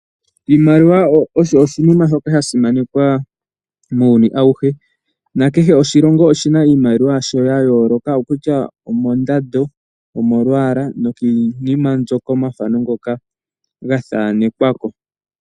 Iimaliwa osho oshinima shoka sha simanekwa muuyuni awuhe. Nakehe oshilongo oshi na iimaliwa yasho yayooloka okutya omondando, omolwaala nokiinima mbyoka/omafano ngoka gathaanekwa ko.